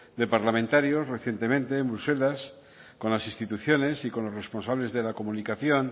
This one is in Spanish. de parlamentarios recientemente en bruselas con las instituciones y con los responsables de la comunicación